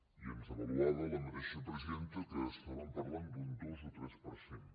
i ens avaluava la mateixa presidenta que estàvem parlant d’un dos o tres per cent